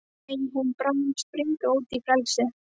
Megi hún bráðum springa út í frelsið.